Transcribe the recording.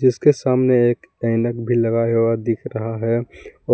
जिसके सामने एक ऐनक भी लगाया हुआ दिख रहा है